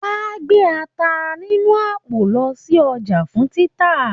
Wà á gbé ata sínú àpò lọ sí ọjà fún títà.